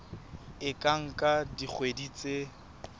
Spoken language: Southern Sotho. e ka nka dikgwedi tse